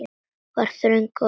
Það var þröng á þingi.